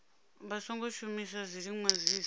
vha songo shumisa zwiliṅwa zwiswa